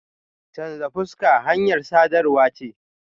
Chanza fuska hanyar sadarwa ce.